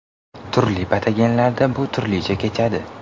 Turli patogenlarda bu turlicha kechadi.